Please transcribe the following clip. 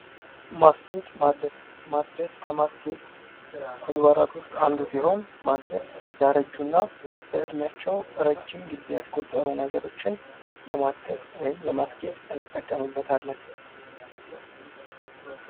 ማስጌጥ/ማደስ፦ ማደስ ከማስጌጥ ተግባራት አንዱ ሲሆን ማደስ ያረጁና በኢድሚቸው ረጂም ጊዜ ያስቆጠሩ ነገሮችን ለማደስ ወይም ለማስጌጥ እንጠቀምበታለን።